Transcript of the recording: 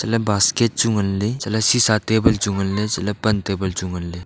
ha la ley basket chu ngan ley chat cisa table chu ngan ley ha la ley pan table chu ngan ley.